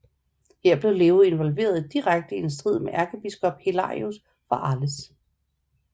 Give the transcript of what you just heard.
Her blev Leo involveret direkte i en strid med ærkebiskop Hilarius fra Arles